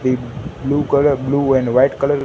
एक blue colour blue and white colour --